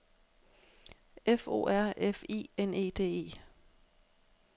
F O R F I N E D E